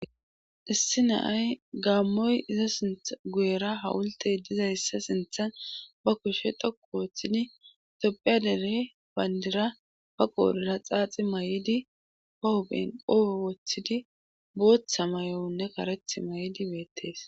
issi naay gaammoy iza sinth guyera hawultey dizayssa sinthan ba kushe toku wooththidi topphiya dere bayndira ba qoorira xaaxi may7idi pohopenqo woththidi booththa may7onne kareth may7idi beettees